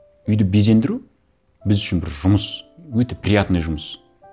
үйді безендіру біз үшін бір жұмыс өте приятный жұмыс